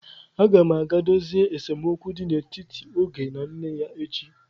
Agam aga dozie esemokwu dị n'etiti Oge na nne ya echi.